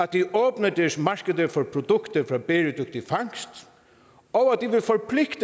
de åbner deres markeder for produkter fra bæredygtig fangst og